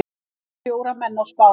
Drap fjóra menn á Spáni